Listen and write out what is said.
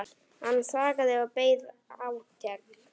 Hann þagði og beið átekta.